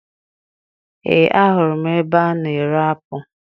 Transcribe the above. Ee, ahụrụ m ebe a na-ere apụ